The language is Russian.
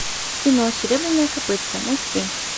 кино серебряное копытце найти